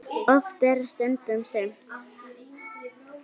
Oft er stundum sumt.